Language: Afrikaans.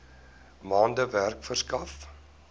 maande werk verskaf